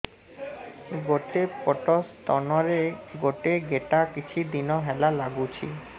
ଗୋଟେ ପଟ ସ୍ତନ ରେ ଗୋଟେ ଗେଟା କିଛି ଦିନ ହେଲା ଲାଗୁଛି